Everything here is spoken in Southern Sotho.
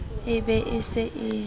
e be e se e